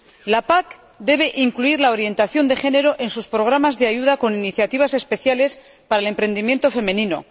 La PAC debe incluir la orientación de género en sus programas de ayuda, con iniciativas especiales para el emprendimiento femenino.